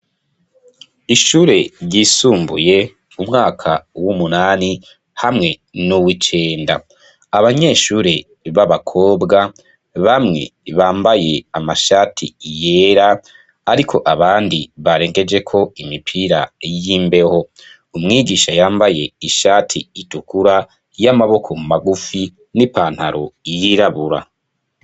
Ishure ryisumbuye umwaka w'umunani hamwe n'uwicenda abanyeshure b'abakobwa bamwe bambaye amashati yera, ariko abandi barengejeko imipira y'imbeho umwigisha yambaye ishati itukura y'amaboko magufi n'i pantaro yirabura.